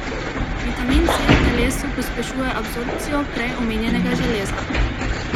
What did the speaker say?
Vitamin C v telesu pospešuje absorpcijo prej omenjenega železa.